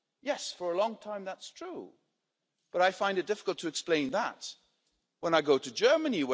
Yes, for a long time that was true, but I find it difficult to explain that when I go to Germany.